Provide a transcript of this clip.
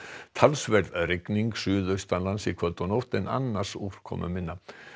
talsverð rigning suðaustanlands í kvöld og nótt en annars úrkomuminna